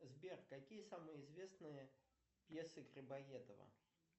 сбер какие самые известные пьесы грибоедова